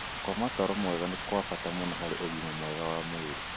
Gũkoma toro mwega nĩ kwa bata mũno harĩ ũgima mwega wa mwĩrĩ.